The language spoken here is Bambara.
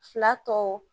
Fila tɔ